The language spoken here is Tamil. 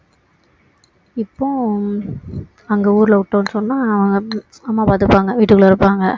இப்போ அங்க ஊருல விட்டோம்னு சொன்னா அம்மா பார்த்துப்பாங்க வீட்டுக்குள்ள இருப்பாங்க